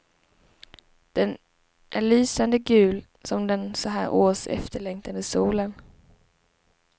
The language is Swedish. Den är lysande gul som den så här års efterlängtade solen.